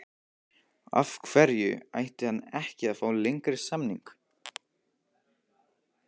Af hverju ætti hann ekki að fá lengri samning?